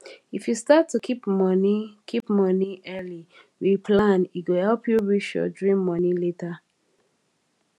if you start to keep money keep money early with plan e go help you reach your dream money later